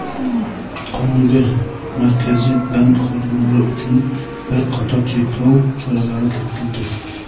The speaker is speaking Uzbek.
Qonunga Markaziy bank xodimlari uchun bir qator cheklov choralari kiritildi.